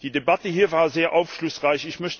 so. Die Debatte hier war sehr aufschlussreich.